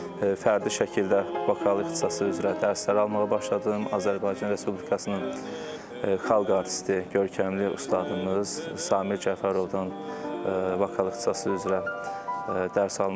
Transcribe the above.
Fərdi şəkildə vokal ixtisası üzrə dərslər almağa başladım, Azərbaycan Respublikasının Xalq Artisti, görkəmli ustadımız Samir Cəfərovdan vokal ixtisası üzrə dərs almışam.